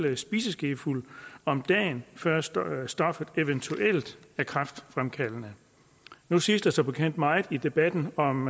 spiseskefuld om dagen før stoffet stoffet eventuelt er kræftfremkaldende nu siges der som bekendt meget i debatten om